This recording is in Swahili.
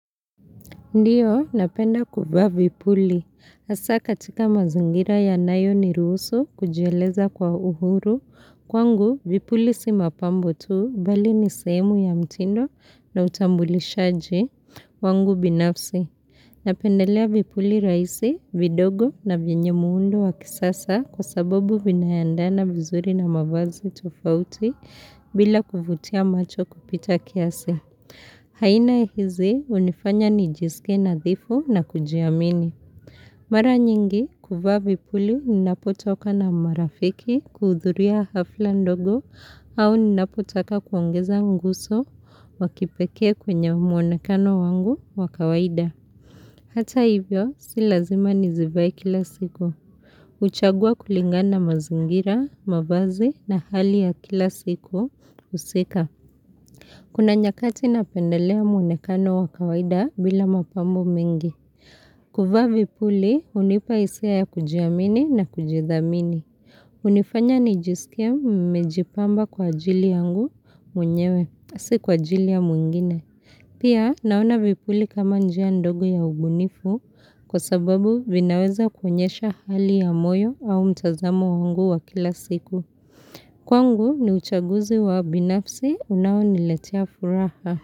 Ndio, napenda kuvaa vipuli. Hasa katika mazingira yanayoniruhusu kujieleza kwa uhuru. Kwangu, vipuli si mapambo tu bali ni sehemu ya mtindo na utambulishaji wangu binafsi. Napendelea vipuli rahisi, vidogo na vyenye muundo wa kisasa kwa sababu vinaendana vizuri na mavazi tofauti bila kuvutia macho kupita kiasi. Aina hizi hunifanya nijisikie nadhifu na kujiamini. Mara nyingi kuvaa vipuli ninapotoka na marafiki kuhudhuria hafla ndogo au ninapotaka kuongeza nguso wa kipekee kwenye mwonekano wangu wa kawaida. Hata hivyo si lazima nizivae kila siku. Huchagua kulingana na mazingira, mavazi na hali ya kila siku husika. Kuna nyakati napendelea mwonekano wa kawaida bila mapambo mengi. Kuvaa vipuli hunipa hisia ya kujiamini na kujithamini. Hunifanya nijisikie nimejipamba kwa ajili yangu mwenyewe, si kwa ajili ya mwingine. Pia naona vipuli kama njia ndogo ya ubunifu kwa sababu vinaweza kuonyesha hali ya moyo au mtazamo wangu wa kila siku. Kwangu ni uchaguzi wa binafsi unaoniletea furaha.